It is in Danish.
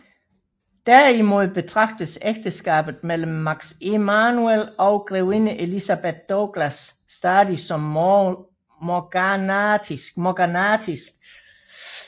Derimod betragtes ægteskabet mellem Max Emanuel og grevinde Elizabeth Douglas stadigt som morganatisk